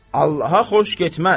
Allaha xoş getməz.